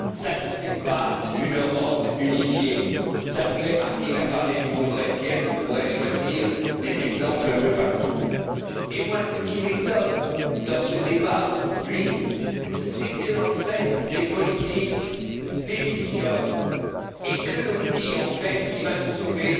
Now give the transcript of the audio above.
Cela ne fait pas une Europe unifiée. Martin Schulz a parlé du congrès de Vienne, on pourrait choisir des exemples un peu partout. Ce qui m'étonne dans ce débat aujourd'hui, c'est que, en fait, les politiques démissionnent et que l'on dise que ce qui va nous sauver,